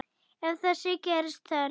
Ef þess gerist þörf